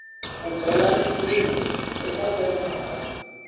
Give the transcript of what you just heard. u bela riqingho eka senthara